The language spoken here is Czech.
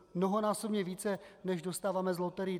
Mnohonásobně více než dostáváme z loterií.